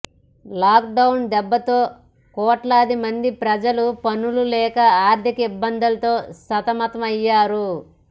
lock down దెబ్బతో కోట్లాది మంది ప్రజలు పనులు లేక ఆర్థిక ఇబ్బందులతో సతమతం అయ్యారు